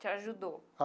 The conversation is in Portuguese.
Te ajudou?